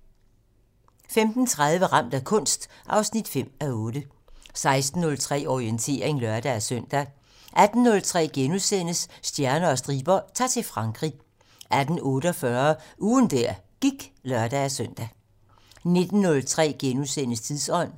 15:30: Ramt af kunst 5:8 16:03: Orientering (lør-søn) 18:03: Stjerner og striber - Ta'r til Frankrig * 18:48: Ugen der gik (lør-søn) 19:03: Tidsånd